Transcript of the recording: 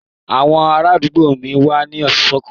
Àwọn ará àdúgbò mi wà ní ìṣọ̀kan